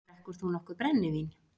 Drekkur þú nokkuð brennivín?